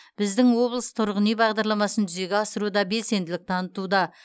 біздің облыс тұрғын үй бағдарламасын жүзеге асыруда белсенділік танытуда